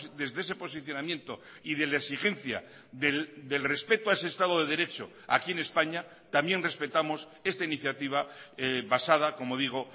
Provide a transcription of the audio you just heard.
desde ese posicionamiento y de la exigencia del respeto a ese estado de derecho aquí en españa también respetamos esta iniciativa basada como digo